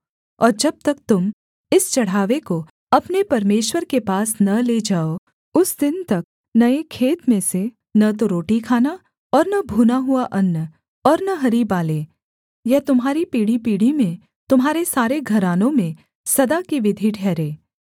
और जब तक तुम इस चढ़ावे को अपने परमेश्वर के पास न ले जाओ उस दिन तक नये खेत में से न तो रोटी खाना और न भूना हुआ अन्न और न हरी बालें यह तुम्हारी पीढ़ीपीढ़ी में तुम्हारे सारे घरानों में सदा की विधि ठहरे